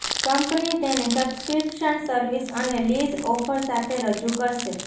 company તેને subscription service અને lease offer સાથે રજૂ કરશે